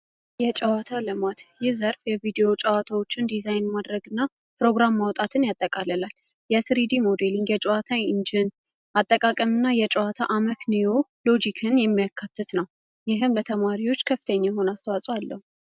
የጨዋታ ልማት ይህ ዘርፍ የቪዲዮ ጨዋታዎችን ዲዛይን ማድረግ እና ፕሮግራም ማውጣትን ያጠቃለላል የስሪዲ ሞዴሊን የጨዋታ ኢንጅን አጠቃቀምእና የጨዋታ አመክንዎ ሎጂክን የሚያካትት ነው ይህም ለተማሪዎች ከፍተኝ የሆን አስተዋፅ አለሁ፡፡